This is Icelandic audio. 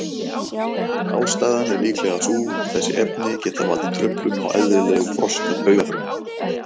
Ástæðan er líklega sú að þessi efni geta valdið truflun á eðlilegum þroska taugafrumna.